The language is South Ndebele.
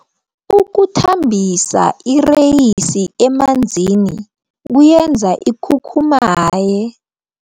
Ukuthambisa ireyisi emanzini kuyenza ikhukhumaye.